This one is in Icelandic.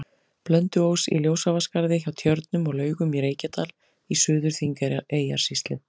Blönduós, í Ljósavatnsskarði hjá Tjörnum og Laugum í Reykjadal í Suður-Þingeyjarsýslu.